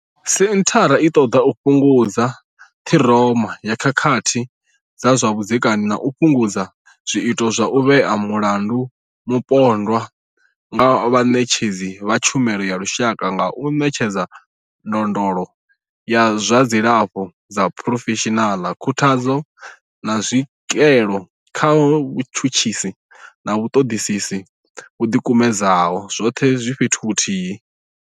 Senthara i ṱoḓa u fhungudza ṱhiroma ya khakhathi dza zwa vhudzekani na u fhungudza zwiito zwa u vhea mulandu mupondwa nga vhaṋetshedzi vha tshumelo ya lushaka nga u ṋetshedza ndondolo ya zwa dzilafho ya phurofeshinala, khuthadzo, na tswikelo kha vhatshutshisi na vhaṱoḓisi vho ḓikumedzaho, zwoṱhe zwi fhethu huthihi.